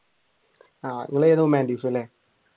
ആഹ് നിങ്ങളേത് ഹ്യൂമാനിറ്റീസ് അല്ലെ?